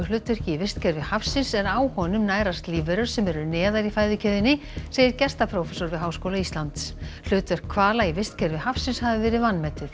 hlutverki í vistkerfi hafsins en á honum nærast lífverur sem eru neðar í fæðukeðjunni segir gistiprófessor við Háskóla Íslands hlutverk hvala í vistkerfi hafsins hafi verið vanmetið